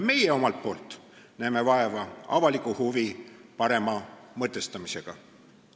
Meie omalt poolt näeme vaeva avaliku huvi parema mõtestamisega.